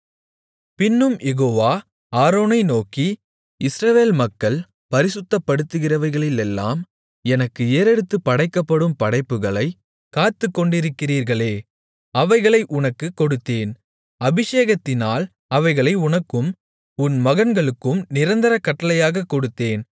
பின்னும் யெகோவா ஆரோனை நோக்கி இஸ்ரவேல் மக்கள் பரிசுத்தப்படுத்துகிறவைகளிலெல்லாம் எனக்கு ஏறெடுத்துப் படைக்கப்படும் படைப்புகளைக் காத்துக் கொண்டிருக்கிறீர்களே அவைகளை உனக்குக் கொடுத்தேன் அபிஷேகத்தினால் அவைகளை உனக்கும் உன் மகன்களுக்கும் நிரந்தர கட்டளையாகக் கொடுத்தேன்